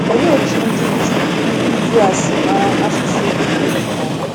Olee otú ndị Juu ndị Juu a si mara asụsụ Hibru nke ọma?